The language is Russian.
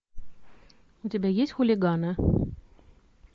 у тебя есть хулиганы